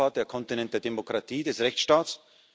Europa, der Kontinent der Demokratie, des Rechtsstaats.